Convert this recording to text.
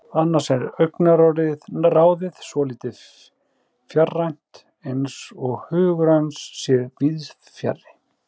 Annars er augnaráðið svolítið fjarrænt, eins og hugur hans sé víðsfjarri.